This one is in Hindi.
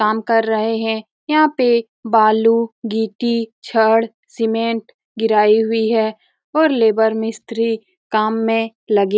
काम कर रहे हैं यहाँ पर बालू गिट्टी छड़ सीमेंट गिरी हुई है और लेबर मिस्त्री काम में लगे --